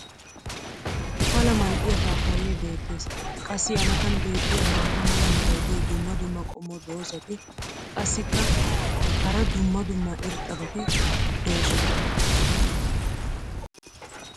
pala mal'iya paappayee beettees. qassi a matan beettiya maata mala meray diyo dumma dumma qommo dozzati qassikka hara dumma dumma irxxabati doosona.